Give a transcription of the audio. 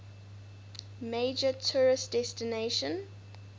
major tourist destination